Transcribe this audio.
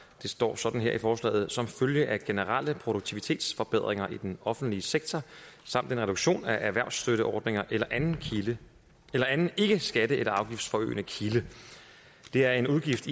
det står sådan her i forslaget som følge af generelle produktivitetsforbedringer i den offentlige sektor samt en reduktion af erhvervsstøtteordninger eller anden eller anden ikkeskatte eller afgiftsforøgende kilde det er en udgift